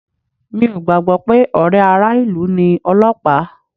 Mi ò gbàgbọ́ pé ọ̀rẹ́ ara ilu ni Ọlọ́pàá